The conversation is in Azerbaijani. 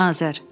Azər.